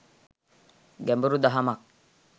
ගැඹුරු දහමක්.